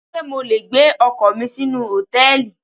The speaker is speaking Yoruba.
Ṣé mo le gbé ọkọ̀ mi sínú Hòtẹ́lìì?